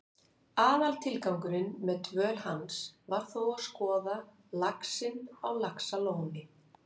Aðaltilgangurinn með dvöl hans var þó að skoða laxinn á Laxalóni.